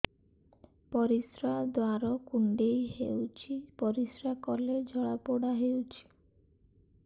ପରିଶ୍ରା ଦ୍ୱାର କୁଣ୍ଡେଇ ହେଉଚି ପରିଶ୍ରା କଲେ ଜଳାପୋଡା ହେଉଛି